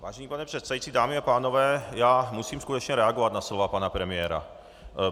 Vážený pane předsedající, dámy a pánové, já musím skutečně reagovat na slova pana premiéra.